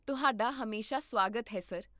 ਤੁਹਾਡਾ ਹਮੇਸ਼ਾ ਸੁਆਗਤ ਹੈ, ਸਰ